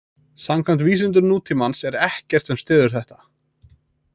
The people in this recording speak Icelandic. Samkvæmt vísindum nútímans er ekkert sem styður þetta.